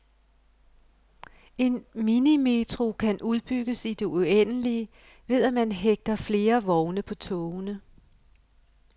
En minimetro kan udbygges i det uendelige ved at man hægter flere vogne på togene.